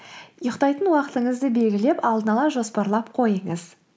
ұйықтайтын уақытыңызды белгілеп алдын ала жоспарлап қойыңыз